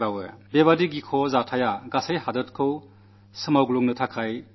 ഭീരുത്വം നിറഞ്ഞ ഈ സംഭവം രാജ്യത്തെ മുഴുവൻ പിടിച്ചു കുലുക്കുവാൻ പര്യാപ്തമായിരുന്നു